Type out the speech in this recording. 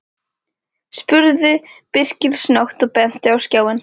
spurði Birkir snöggt og benti á skjáinn.